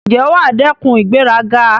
Ǹjẹ́ wà á dẹ́kun ìgbéraga?